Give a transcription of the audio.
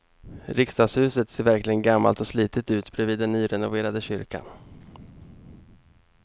Riksdagshuset ser verkligen gammalt och slitet ut bredvid den nyrenoverade kyrkan.